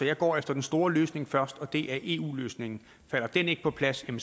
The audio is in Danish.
jeg går efter den store løsning først og det er eu løsningen falder den ikke på plads må